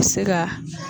Se ka